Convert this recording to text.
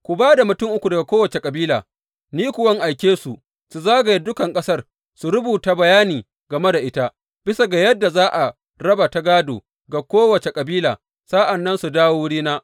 Ku ba da mutum uku daga kowace kabila, ni kuwa in aike su, su zagaya dukan ƙasar su rubuta bayani game da ita, bisa ga yadda za a raba ta gādo ga kowace kabila, sa’an nan su dawo wurina.